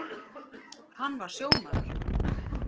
Hann var sjómaður.